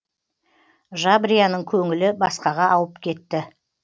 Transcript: жабрияның көңілі басқаға ауып кетті